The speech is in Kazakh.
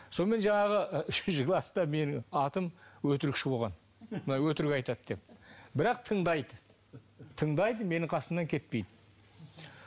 сонымен жаңағы і үшінші класта менің атым өтірікші болған мынау өтірік айтады деп бірақ тыңдайды тыңдайды менің қасымнан кетпейді